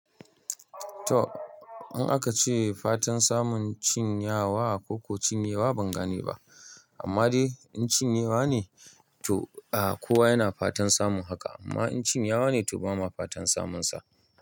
To, in aka ce fatan samun cin yawa ko ku cin yewa ban gane ba, amma dai in cin yewa ne to a kowa yana fatan samun haka. Amma in cin yawa ne to ba ma fatan samun sa.